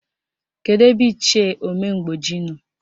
Kedụ ebe Ichie Omemgboji nọ?